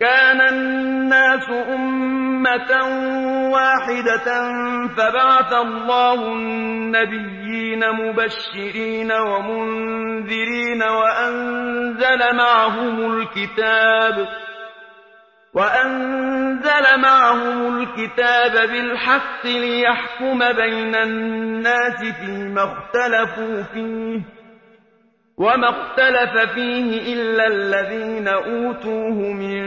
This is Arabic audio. كَانَ النَّاسُ أُمَّةً وَاحِدَةً فَبَعَثَ اللَّهُ النَّبِيِّينَ مُبَشِّرِينَ وَمُنذِرِينَ وَأَنزَلَ مَعَهُمُ الْكِتَابَ بِالْحَقِّ لِيَحْكُمَ بَيْنَ النَّاسِ فِيمَا اخْتَلَفُوا فِيهِ ۚ وَمَا اخْتَلَفَ فِيهِ إِلَّا الَّذِينَ أُوتُوهُ مِن